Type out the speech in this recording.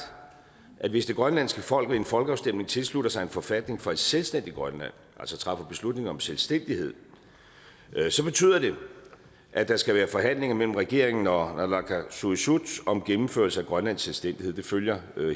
at hvis det grønlandske folk ved en folkeafstemning tilslutter sig en forfatning for et selvstændigt grønland altså træffer beslutning om selvstændighed så betyder det at der skal være forhandlinger mellem regeringen og naalakkersuisut om gennemførelse af grønlands selvstændighed det følger